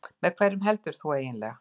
Með hverjum heldur þú eiginlega?